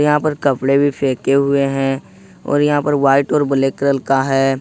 यहां पर कपड़े भी फेंके हुए हैं और यहां पर वाइट और ब्लैक कलर का है।